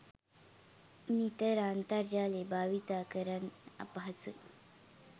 නිතර අන්තර්ජාලය බාවිතා කරන්න අපහසුයි.